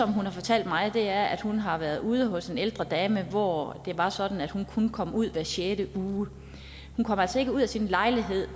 hun har fortalt mig er at hun har været ude hos en ældre dame hvor det var sådan at hun kun kom ud hver sjette uge hun kom altså ikke ud af sin lejlighed